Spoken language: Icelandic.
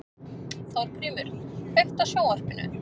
Þórgrímur, kveiktu á sjónvarpinu.